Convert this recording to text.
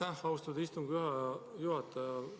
Aitäh, austatud istungi juhataja!